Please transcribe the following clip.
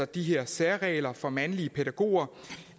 de her særregler for mandlige pædagoger